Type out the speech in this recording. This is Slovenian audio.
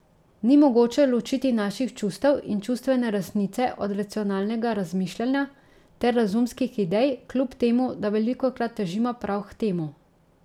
Ni mogoče ločiti naših čustev in čustvene resnice od racionalnega razmišljanja ter razumskih idej, kljub temu da velikokrat težimo prav k temu.